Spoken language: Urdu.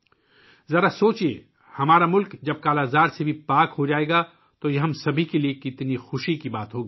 ذرا سوچئے ، جب ہمارا ملک 'کالا آزار' سے آزاد ہو گا تو ہم سب کے لیے خوشی کی بات ہو گی